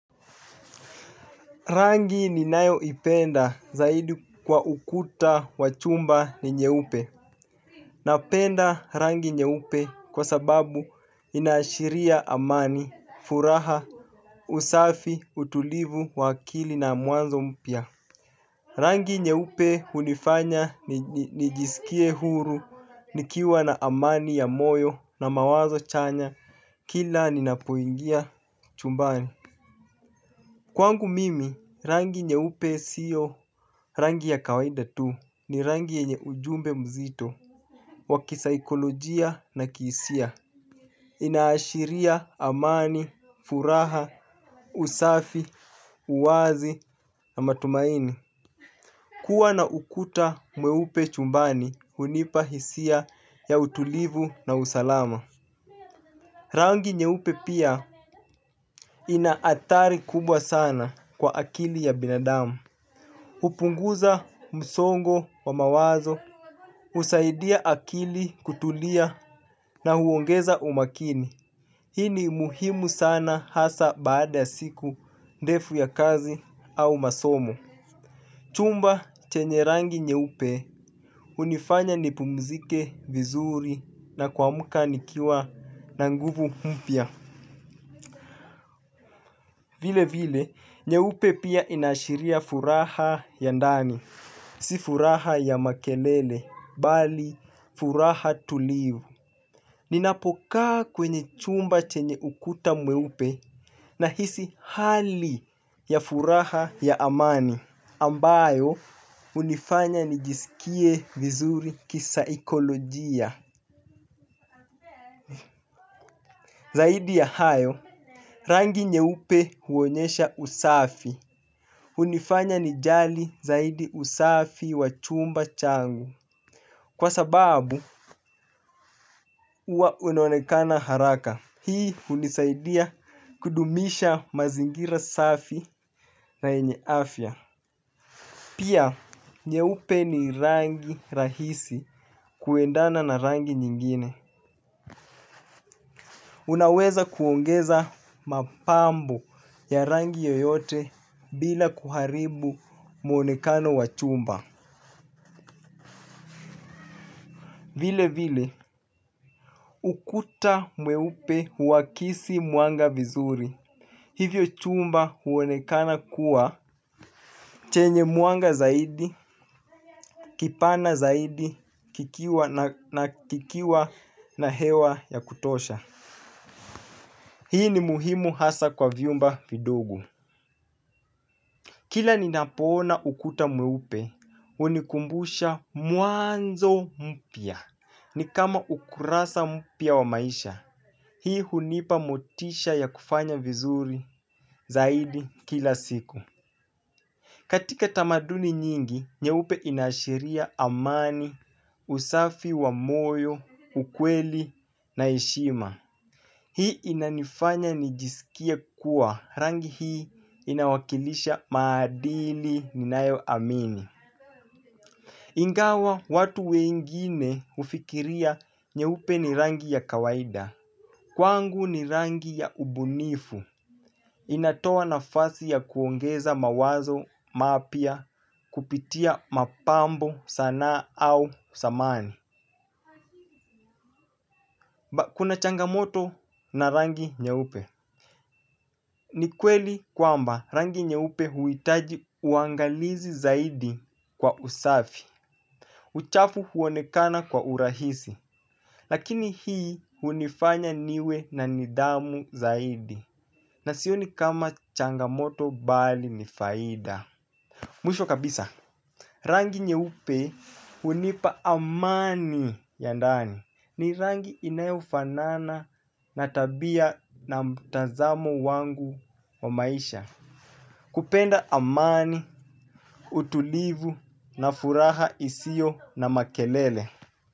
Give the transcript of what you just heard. Rangi ninayo ipenda zaidi kwa ukuta wa chumba ni nyeupe. Napenda rangi nyeupe kwa sababu inaashiria amani, furaha, usafi, utulivu, wa akili na mwanzo mpya. Rangi nyeupe hunifanya nijisikie huru nikiwa na amani ya moyo na mawazo chanya kila ninapoingia chumbani. Kwangu mimi, rangi nyeupe siyo rangi ya kawaida tu ni rangi yeenye ujumbe mzito wa kisaikolojia na kihisia. Inaashiria amani, furaha, usafi, uwazi na matumaini. Kuwa na ukuta mweupe chumbani hunipa hisia ya utulivu na usalama. Rangi nyeupe pia ina athari kubwa sana kwa akili ya binadamu. Hupunguza msongo wa mawazo, husaidia akili kutulia na huongeza umakini. Hii ni muhimu sana hasa baada ya siku, ndefu ya kazi au masomo. Chumba chenye rangi nyeupe, hunifanya nipumzike vizuri na kuamka nikiwa na nguvu mpya. Vile vile, nyeupe pia inaashiria furaha ya ndani. Si furaha ya makelele bali furaha tulivu. Ninapokaa kwenye chumba chenye ukuta mweupe nahisi hali ya furaha ya amani. Ambayo, hunifanya nijisikie vizuri kisaikolojia. Zaidi ya hayo, rangi nyeupe huonyesha usafi. Hunifanya nijali zaidi usafi wa chumba changu. Kwa sababu, huwa unaonekana haraka. Hii hunisaidia kudumisha mazingira safi na yenye afya. Pia, nyeupe ni rangi rahisi kuendana na rangi nyingine. Unaweza kuongeza mapambo ya rangi yoyote bila kuharibu muonekano wa chumba. Vile vile, ukuta mweupe huakisi mwanga vizuri. Hivyo chumba huonekana kuwa chenye mwanga zaidi, kipana zaidi, kikiwa na hewa ya kutosha. Hii ni muhimu hasa kwa vyumba vidogo. Kila ninapoona ukuta mweupe, hunikumbusha mwanzo mpya. Ni kama ukurasa mpya wa maisha. Hii hunipa motisha ya kufanya vizuri zaidi kila siku. Katika tamaduni nyingi, nyeupe inaashiria amani, usafi wa moyo, ukweli na heshima. Hii inanifanya nijisikie kuwa, rangi hii inawakilisha maadili ninayo amini. Ingawa watu wengine hufikiria nyeupe ni rangi ya kawaida. Kwangu ni rangi ya ubunifu. Inatoa nafasi ya kuongeza mawazo, mapya, kupitia mapambo, sanaa au samani. Kuna changamoto na rangi nyeupe. Ni kweli kwamba rangi nyeupe huhitaji uangalizi zaidi kwa usafi. Uchafu huonekana kwa urahisi. Lakini hii hunifanya niwe na nidhamu zaidi. Na sioni kama changamoto bali ni faida. Mwisho kabisa rangi nyeupe hunipa amani ya ndani. Ni rangi inayofanana na tabia na mtazamo wangu wa maisha. Kupenda amani, utulivu na furaha isiyo na makelele.